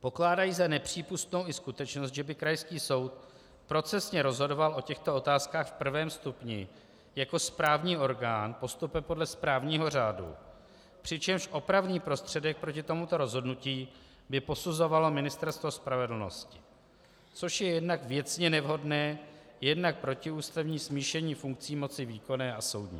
Pokládají za nepřípustnou i skutečnost, že by krajský soud procesně rozhodoval o těchto otázkách v prvém stupni jako správní orgán postupem podle správního řádu, přičemž opravný prostředek proti tomuto rozhodnutí by posuzovalo Ministerstvo spravedlnosti, což je jednak věcně nevhodné, jednak protiústavní smíšení funkcí moci výkonné a soudní.